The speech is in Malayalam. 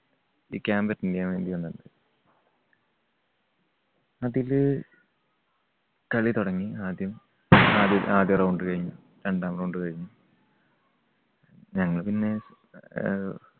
ഈ camp attend ചെയ്യാൻ വേണ്ടി വന്നിരുന്നു അതില് കളി തുടങ്ങി ആദ്യം ആദ്യം ആദ്യ round കഴിഞ്ഞു. രണ്ടാം round കഴിഞ്ഞു. ഞങ്ങൾ പിന്നെ അഹ്